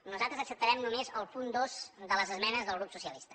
nosaltres acceptarem només el punt dos de les esmenes del grup socialista